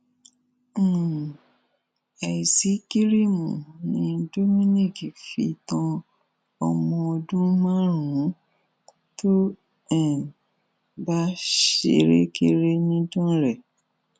um àìsí kiriìmù ni dominic fi tan ọmọ ọdún márùnún tó um bá ṣerékeré nìdánrẹ